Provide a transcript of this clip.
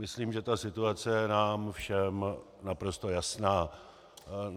Myslím, že ta situace je nám všem naprosto jasná.